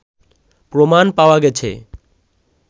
প্রমাণ পাওয়া গেছে